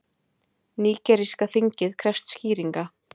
Nígeríska þingið krefst skýringa